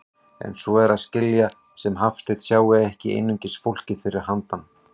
En svo er að skilja sem Hafsteinn sjái ekki einungis fólkið fyrir handan.